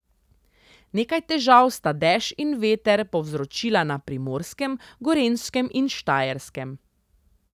Nekaj težav sta dež in veter povzročila na Primorskem, Gorenjskem in Štajerskem.